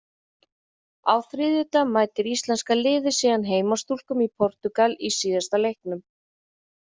Á þriðjudag mætir íslenska liðið síðan heimastúlkum í Portúgal í síðasta leiknum.